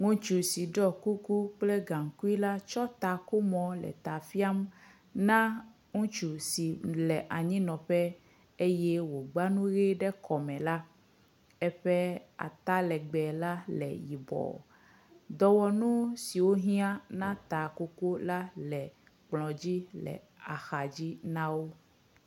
Ŋutsu si ɖɔ kuku kple haŋkui tsɔ takomɔ le ta fiam na ŋutsu si le anyinɔƒe eye wògba nu ʋe kɔme la, eƒe ata legbe la le yibɔ. Dɔwɔnu siwo hɛ̃a na takoko la le kplɔ dzi le axadzi na ameawo.